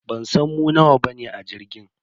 Bansan mu nawa bane a jirgin.